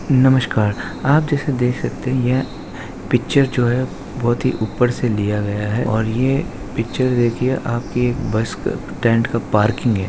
नमस्कार आप इसे देख सकते है यह पिक्चर जो है बहुत ही ऊपर से लिया गया है और ये पिक्चर देखिये आपके बस के टेंट के पार्किंग है।